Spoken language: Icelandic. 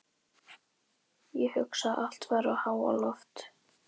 Ég hugsa að allt færi í háaloft.